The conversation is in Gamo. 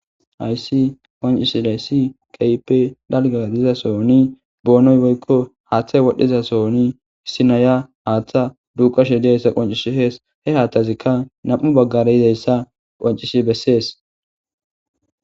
Hayssi qoncishiday si qaype dalgadizasooni boonoy boykko haaththay wodhdhiza sooni hissi naya haaththa duukashe dieyssa qoncishi hees he haatthazikka nam'u baggare yizeyssa qoncish bessees.